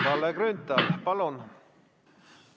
Kalle Grünthal, palun!